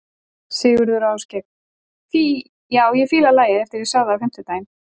Sigurður og Ásgeir: Fí, já ég fíla lagið eftir að ég sá það á fimmtudaginn?